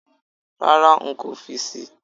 Rárá, nkò fi síi